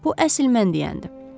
Bu əsl mən deyəndir.